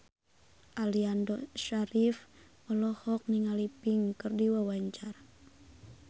Aliando Syarif olohok ningali Pink keur diwawancara